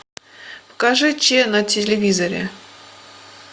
покажи че на телевизоре